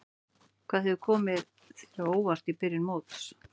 Hvað hefur komið þér á óvart í byrjun móts?